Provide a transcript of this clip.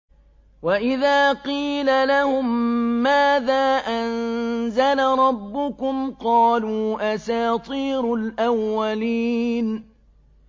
وَإِذَا قِيلَ لَهُم مَّاذَا أَنزَلَ رَبُّكُمْ ۙ قَالُوا أَسَاطِيرُ الْأَوَّلِينَ